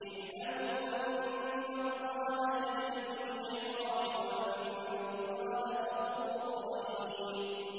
اعْلَمُوا أَنَّ اللَّهَ شَدِيدُ الْعِقَابِ وَأَنَّ اللَّهَ غَفُورٌ رَّحِيمٌ